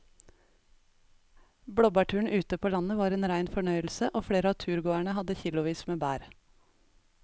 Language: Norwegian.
Blåbærturen ute på landet var en rein fornøyelse og flere av turgåerene hadde kilosvis med bær.